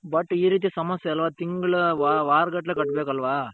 but ಈ ರೀತಿ ಸಮಸ್ಯೆ ಅಲ್ವ ತಿಂಗಳ ವಾರಗಟ್ಟಲೇ ಕಟ್ಟಬೇಕು ಅಲ್ವ.